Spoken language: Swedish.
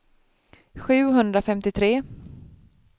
sjuhundrafemtiotre